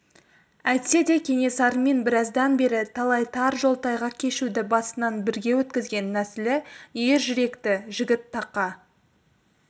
әйтсе де кенесарымен біраздан бері талай тар жол тайғақ кешуді басынан бірге өткізген нәсілі ер жүректі жігіт тақа